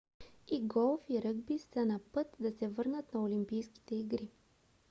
и голф и ръгби са на път да се върнат на олимпийските игри